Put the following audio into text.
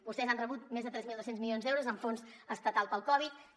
vostès han rebut més de tres mil dos cents milions d’euros en fons estatals per a la covid dinou